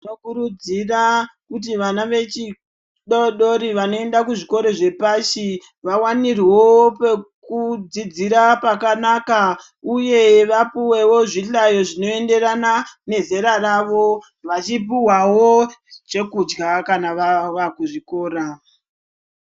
Tokurudzira kuti vana vadodori vanoenda kuzvikora zvepashi ,vawanirwewo pekudzidzira pakanaka uye vapuwewo zvihlayo zvinoenderana nezera ravo .Vachipuhwawo zvekudya kana vakuzvikora.